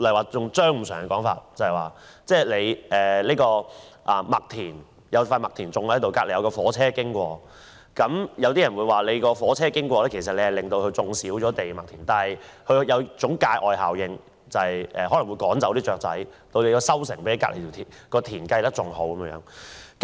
套用張五常的說法，在一塊麥田旁邊有火車經過，有人說火車經過會令麥田面積減少，但它有一種界外效果，可能會趕走雀鳥，令收成比隔鄰的田更好。